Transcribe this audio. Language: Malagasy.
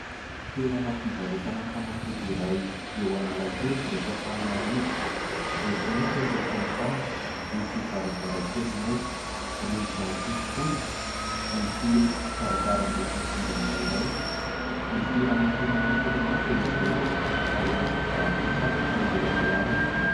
Toerana fivarotana fanafody iray eo Analakely eto Antananarivo, maitsomaitso ny lokon'ny trano. Misy varavarankely maitso, rindrina fotsifotsy, misy varavaram-be fidirana iray. Misy ramatoa manao solomaso eo ivelany ary misy mpivarotra satroka eo amin'ny lalana.